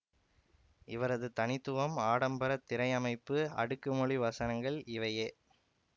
இவரது தனித்துவம் ஆடம்பர திரையமைப்பு அடுக்கு மொழி வசனங்கள் இவையே